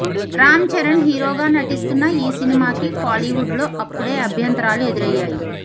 రామ్ చరణ్ హీరోగా నటిస్తున్న ఈ సినిమాకి కోలీవుడ్లో అప్పుడే అభ్యంతరాలు ఎదురయ్యాయి